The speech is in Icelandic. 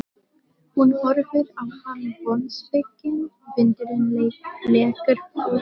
Hún horfir á hann vonsvikin, vindurinn lekur úr henni.